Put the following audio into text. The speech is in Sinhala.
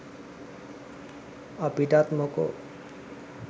අපිටත් මොකෝ.